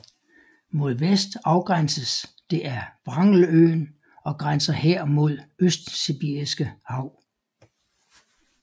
Mod vest afgrænses det af Wrangeløen og grænser her mod Østsibiriske hav